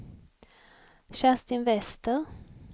Kerstin Wester